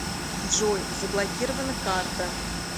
джой заблокирована карта